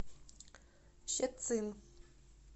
щецин